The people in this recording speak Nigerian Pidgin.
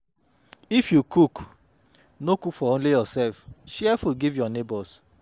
If you cook, no cook for only yourself share food give your neighbours